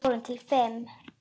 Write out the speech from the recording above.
Handa fjórum til fimm